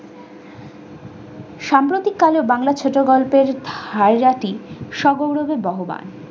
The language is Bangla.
সাম্প্রতিককালে বাংলা ছোটগল্পের হাইয়াতি সহ গৌরবে বহান।